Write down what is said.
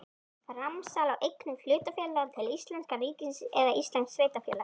Framsal á eignum hlutafélags til íslenska ríkisins eða íslensks sveitarfélags.